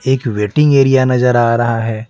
एक waiting area नजर आ रहा है।